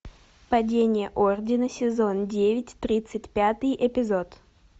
падение ордена сезон девять тридцать пятый эпизод